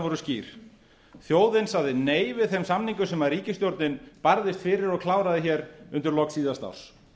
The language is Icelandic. voru skýr þjóðin sagði nei við þeim samningum sem ríkisstjórnin barðist fyrir og kláraði hér undir lok síðasta árs